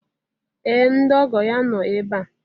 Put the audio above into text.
ee ndị ọgọ ya nọ ebe a